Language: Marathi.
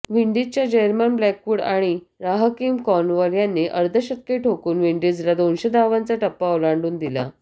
विंडीजच्या जेरमन ब्लॅकवूड आणि राहकीम कॉर्नवॉल यांनी अर्धशतके ठोकून विंडीजला दोनशे धावांचा टप्पा ओलांडून दिला